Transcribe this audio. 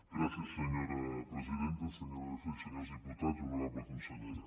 gràcies senyora presidenta senyores i senyors diputats honorable consellera